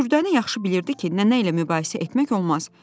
Dürdanə yaxşı bilirdi ki, nənə ilə mübahisə etmək olmaz.